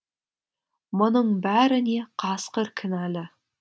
мұның бәріне қасқыр кінәлі